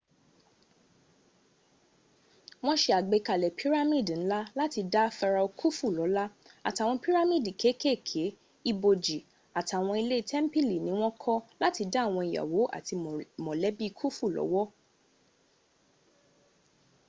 wọ́n se àgbékalẹ̀ pírámìdì ńlá láti dá pharaoh khufu lọ́lá àtàwọn pírámìdì kékéèké ibòjì àtàwọn ilé tẹ́ḿpìlì ni wọ́n kọ́ láti dá àwọn ìyàwó àti mọ̀lẹ́bí khufu lọ́wọ́